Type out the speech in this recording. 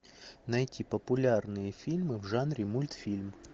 найти популярные фильмы в жанре мультфильм